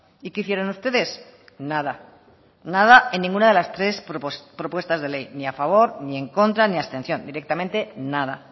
y qué hicieron ustedes nada nada en ninguna de las tres propuestas de ley ni a favor ni en contra ni abstención directamente nada